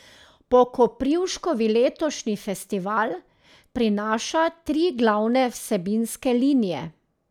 Po Koprivškovi letošnji festival prinaša tri glavne vsebinske linije.